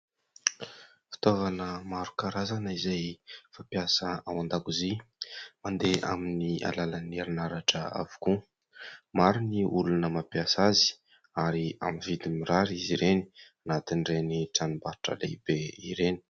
Fitaovana maro karazana izay fampiasa ao andakozia, mandeha amin'ny alalan'ny herin'aratra avokoa. Maro ny olona mampiasa azy ary amin'ny vidiny mirary izy ireny anatin'iteny tranombarotra lehibe ireny.